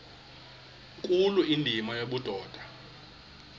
nkulu indima yobudoda